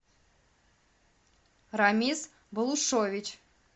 рамис балушович